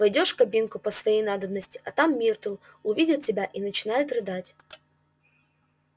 войдёшь в кабинку по своей надобности а там миртл увидит тебя и начинает рыдать